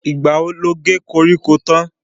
Ìgbà wo lo ge koríko tán?